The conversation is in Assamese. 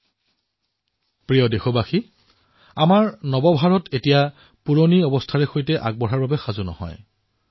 মোৰ মৰমৰ দেশবাসীসকল আমাৰ নতুন ভাৰতে পুৰণি পদক্ষেপৰ সৈতে আগুৱাবলৈ প্ৰস্তুত নহয়